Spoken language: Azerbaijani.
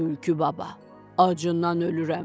Tülkü baba, acından ölürəm.